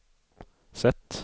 sätt